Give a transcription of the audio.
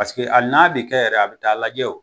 Paseke ali n'abi kɛ yɛrɛ a bi taa lajɛ o